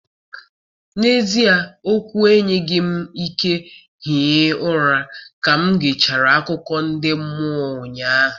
N'ezie okwu enweghị m ike hie ụra ka m gechara akụkọ ndị mmụọ ụnyaahụ